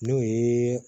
N'o ye